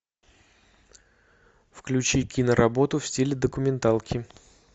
включи киноработу в стиле документалки